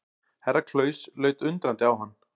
Herra Klaus leit undrandi á hann.